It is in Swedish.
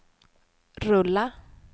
rulla